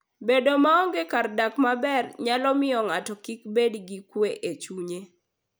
Bedo maonge kar dak maber nyalo miyo ng'ato kik bed gi kuwe e chunye.